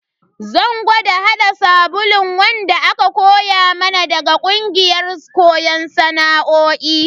Zan gwada hada sabulun wanda aka koya mana daga kungiyar koyon sana'o'i.